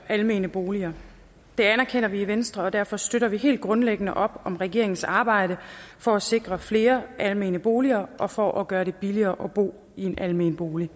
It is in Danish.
almene boliger det anerkender vi i venstre og derfor støtter vi helt grundlæggende op om regeringens arbejde for at sikre flere almene boliger og for at gøre det billigere at bo i en almen bolig